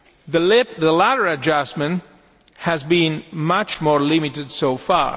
The latter adjustment has been much more limited so far.